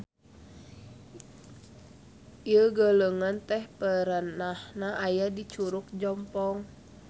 Ieu galengan teh perenahna aya di Curug Jompong.